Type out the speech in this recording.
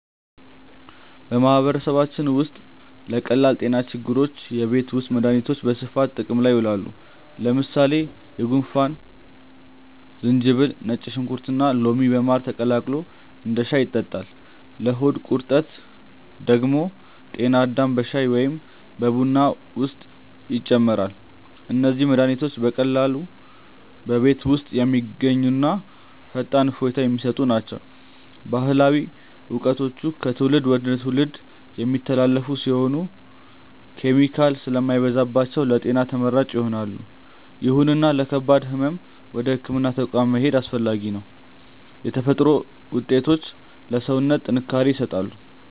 በማህበረሰባችን ውስጥ ለቀላል ጤና ችግሮች የቤት ውስጥ መድሃኒቶች በስፋት ጥቅም ላይ ይውላሉ። ለምሳሌ ለጉንፋን ዝንጅብል፣ ነጭ ሽንኩርትና ሎሚ በማር ተቀላቅሎ እንደ ሻይ ይጠጣል። ለሆድ ቁርጠት ደግሞ ጤና አዳም በሻይ ወይም በቡና ውስጥ ይጨመራል። እነዚህ መድሃኒቶች በቀላሉ በቤት ውስጥ የሚገኙና ፈጣን እፎይታ የሚሰጡ ናቸው። ባህላዊ እውቀቶቹ ከትውልድ ወደ ትውልድ የሚተላለፉ ሲሆኑ፣ ኬሚካል ስለማይበዛባቸው ለጤና ተመራጭ ይሆናሉ። ይሁንና ለከባድ ህመም ወደ ህክምና ተቋም መሄድ አስፈላጊ ነው። የተፈጥሮ ውጤቶች ለሰውነት ጥንካሬ ይሰጣሉ።